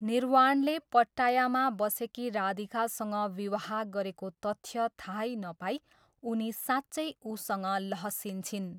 निर्वाणले पट्टायामा बसेकी राधिकासँग विवाह गरेको तथ्य थाहै नपाई उनी साँच्चै उसँग लहसिन्छिन्।